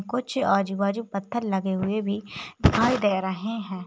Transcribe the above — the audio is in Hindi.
कुछ आजू बाजू पत्थर लगे हुए भी दिखाई दे रहे हैं।